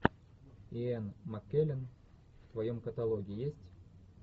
иэн маккеллен в твоем каталоге есть